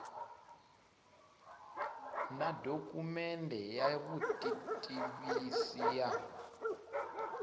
na dokumende ya vutitivisi ya